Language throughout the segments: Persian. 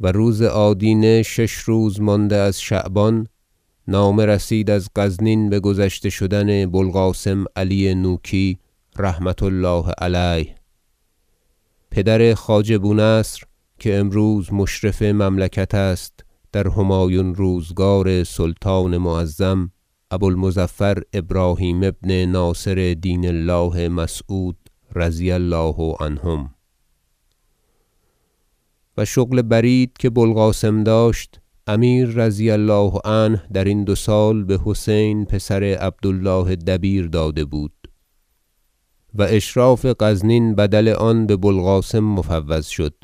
و روز آدینه شش روز مانده از شعبان نامه رسید از غزنین بگذشته شدن بوالقاسم علی نوکی رحمة الله علیه پدر خواجه بونصر که امروز مشرف مملکت است در همایون روزگار سلطان معظم ابو المظفر ابراهیم ابن ناصر دین الله مسعود رضی الله عنهم و شغل برید که بوالقاسم داشت امیر رضی الله عنه درین دو سال بحسین پسر عبد الله دبیر داده بود و اشراف غزنین بدل آن ببوالقاسم مفوض شد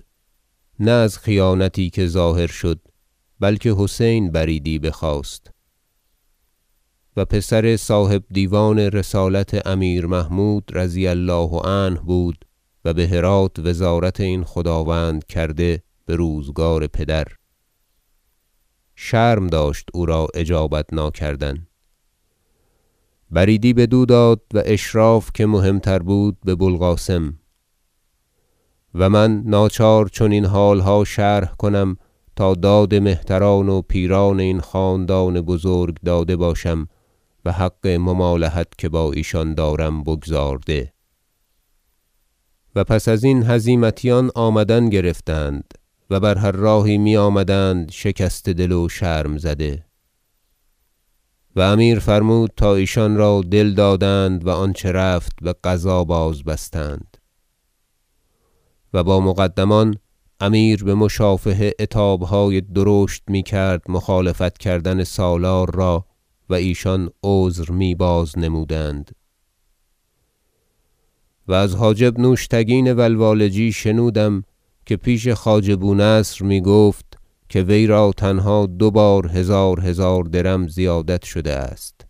نه از خیانتی که ظاهر شد بلکه حسین بریدی بخواست و پسر صاحب دیوان رسالت امیر محمود رضی الله عنه بود و بهرات وزارت این خداوند کرده بروزگار پدر شرم داشت او را اجابت ناکردن بریدی بدو داد و اشراف که مهم تر بود ببوالقاسم و من ناچار چنین حالها شرح کنم تا داد مهتران و پیران این خاندان بزرگ داده باشم و حق ممالحت که با ایشان دارم بگزارده بازگشت هزیمتیان و پس ازین هزیمتیان آمدن گرفتند و بر هر راهی می آمدند شکسته دل و شرم زده و امیر فرمود تا ایشان را دل دادند و آنچه رفت بقضا بازبستند و با مقدمان امیر بمشافهه عتابهای درشت میکرد مخالفت کردن سالار را و ایشان عذر می باز- نمودند و از حاجب نوشتگین و لوالجی شنودم که پیش خواجه بونصر میگفت که وی را تنها دو بار هزار هزار درم زیادت شده است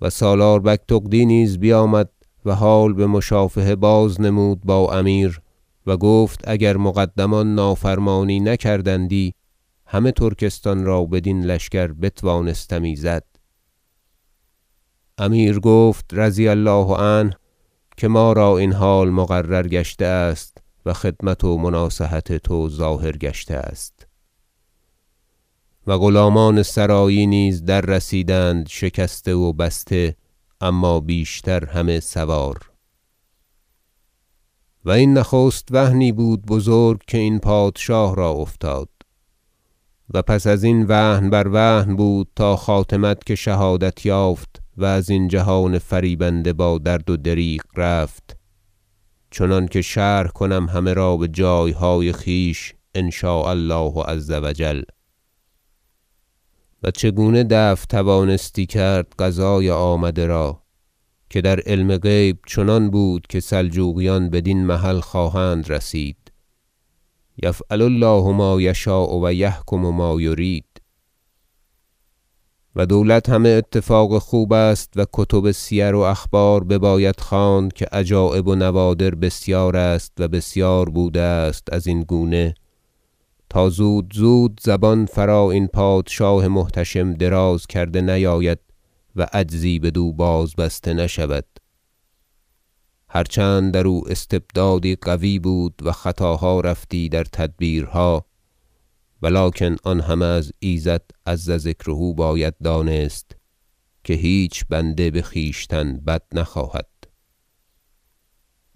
و سالار بگتغدی نیز بیامد و حال بمشافهه بازنمود با امیر و گفت اگر مقدمان نافرمانی نکردندی همه ترکستان را بدین لشکر بتوانستمی زد امیر گفت رضی الله عنه که ما را این حال مقرر گشته است و خدمت و مناصحت تو ظاهر گشته است و غلامان سرایی نیز دررسیدند شکسته و بسته اما بیشتر همه سوار و این نخست وهنی بود بزرگ که این پادشاه را افتاد و پس ازین وهن بر وهن بود تا خاتمت که شهادت یافت و ازین جهان فریبنده با درد و دریغ رفت چنانکه شرح کنم همه را بجایهای خویش ان شاء الله عز و جل و چگونه دفع توانستی کرد قضای آمده را که در علم غیب چنان بود که سلجوقیان بدین محل خواهند رسید یفعل الله ما یشاء و یحکم ما یرید و دولت همه اتفاق خوب است و کتب سیر و اخبار بباید خواند که عجایب و نوادر بسیار است و بسیار بوده است ازین گونه تا زود زود زبان فرا این پادشاه محتشم دراز کرده نیاید و عجزی بدو بازبسته نشود هر چند درو استبدادی قوی بود و خطاها رفتی در تدبیرها ولکن آن همه از ایزد عز ذکره باید دانست که هیچ بنده بخویشتن بد نخواهد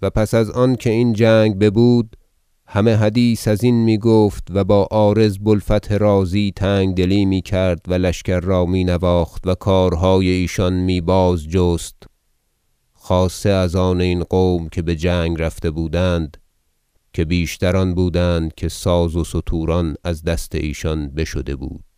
و پس از آن که این جنگ ببود همه حدیث ازین میگفت و با عارض بوالفتح رازی تنگدلی میکرد و لشکر را می نواخت و کارهای ایشان می بازجست خاصه از آن این قوم که بجنگ رفته بودند که بیشتر آن بودند که ساز و ستوران از دست ایشان بشده بود